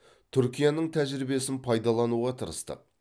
түркияның тәжірибесін пайдалануға тырыстық